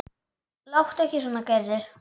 Láttu ekki svona Gerður.